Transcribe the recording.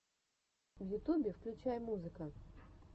в ютюбе включай музыка